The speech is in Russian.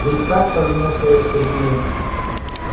ведь так повернулась я к сергею